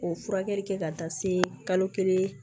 O furakɛli kɛ ka taa se kalo kelen